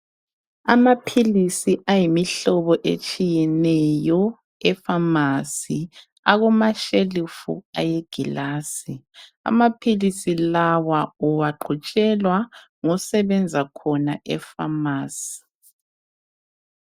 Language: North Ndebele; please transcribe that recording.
Amaphilisi ayimihlobo etshiyeneyo efamasi akumashelufu wengilazi amaphilisi lawa uwagqutshelwa ngosebenza khona efamasi .